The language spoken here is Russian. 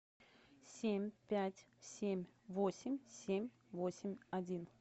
семь пять семь восемь семь восемь один